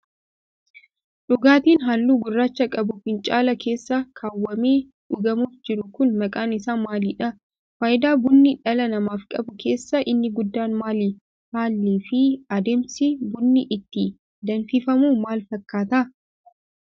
Dhugaatiin haalluu gurraacha qabu fincaala keessa kaawwamee dhugamuuf jiru kun, maqaan isaa maali dha? Faayidaa bunni dhala namaaf qabu keessaa inni guddaan maali? Haalli fi adeemsi bunni itti danfifamu maal fakkaata?